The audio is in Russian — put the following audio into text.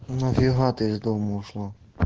нафига ты из дома ушла